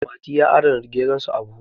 mati ya adana geronsa a buhu